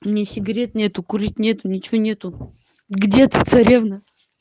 меня сигарет нету курить нету ничего нету где эта царевна